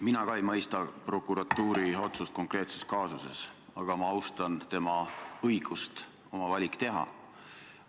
Mina ka ei mõista prokuratuuri otsust konkreetses kaasuses, aga ma austan tema õigust oma valik teha.